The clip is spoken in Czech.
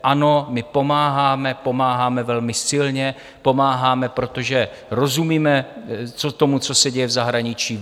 Ano, my pomáháme, pomáháme velmi silně, pomáháme, protože rozumíme tomu, co se děje v zahraničí.